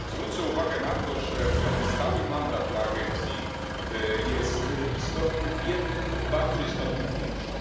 Zwrócę uwagę na to, że ten stały mandat dla agencji jest istotny w jednym bardzo istotnym punkcie.